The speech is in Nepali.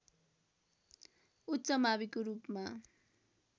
उच्च माविको रूपमा